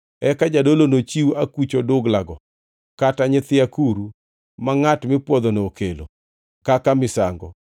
Eka jadolo nochiw akuch oduglago kata nyithi akuru, ma ngʼat mipwodhono okelo kaka misango,